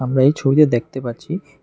আমরা এই ছবিতে দেখতে পাচ্ছি।